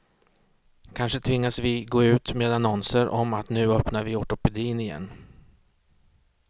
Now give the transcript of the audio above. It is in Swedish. Kanske tvingas vi gå ut med annonser om att nu öppnar vi ortopedin igen.